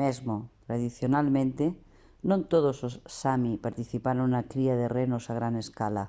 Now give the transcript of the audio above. mesmo tradicionalmente non todos os sámi participaron na cría de renos a gran escala